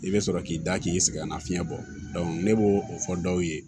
I bɛ sɔrɔ k'i da k'i sɛgɛnna fiɲɛ bɔ ne b'o o fɔ dɔw ye